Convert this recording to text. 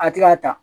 A ti ka ta